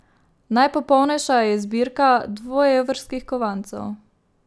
Najpopolnejša je zbirka dvoevrskih kovancev.